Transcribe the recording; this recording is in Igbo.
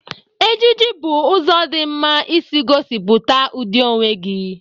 Ejiji bụ ụzọ dị mma isi gosipụta ụdị onwe gị.